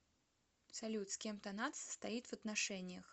салют с кем танат состоит в отношениях